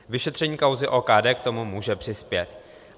Vyšetření kauzy OKD k tomu může přispět.